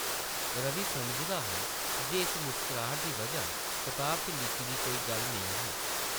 रवि समझदा हा जे इस मुस्कराह्ट दी बजह कताबा च लिखी दी कोई गल्ल नेईं ही ।